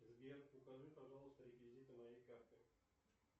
сбер укажи пожалуйста реквизиты моей карты